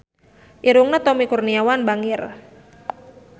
Irungna Tommy Kurniawan bangir